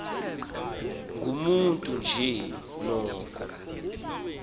ngumntu nje noko